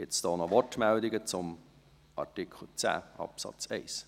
Gibt es noch Wortmeldungen zu Artikel 10 Absatz 1?